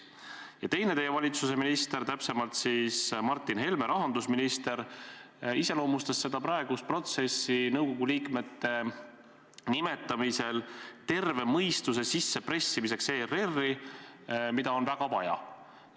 Ja teine teie valitsuse minister, täpsemalt siis Martin Helme, rahandusminister, iseloomustas praegust protsessi nõukogu liikmete nimetamisel terve mõistuse sissepressimisena ERR-i, mida on väga vaja.